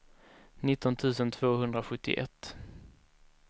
nitton tusen tvåhundrasjuttioett